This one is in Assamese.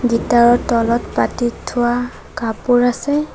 গীটাৰ ৰ তলত পাটিত থোৱা কাপোৰ আছে।